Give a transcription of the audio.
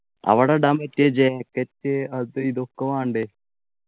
അവിടെ ഇടാൻ പറ്റിയ jacket അത് ഇതൊക്കെ വേണ്ടേ